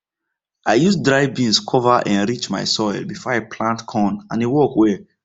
i use dry beans cover enrich my soil before i plant corn and e work well